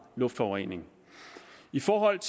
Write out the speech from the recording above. luftforurening i forhold